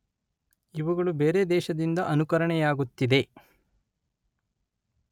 ಇವುಗಳು ಬೇರೆ ದೇಶದಿಂದ ಅನುಕರಣೆಯಾಗುತ್ತಿದೆ.